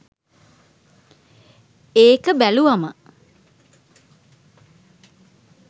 ඒක බැලුවම.